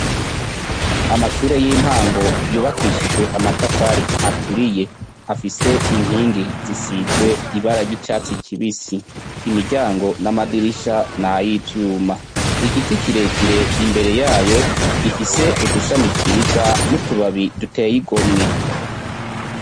Amashure y' intango yubakishijwe amatafari aturiye. Afise inkingi zisizwe ibara ry' icatsi kibisi . Imiryango n' amadirisha n'ayivyuma. Igiti kirekire imbere yayo ,gifise udushami twiza n' utubabi duteye igomwe.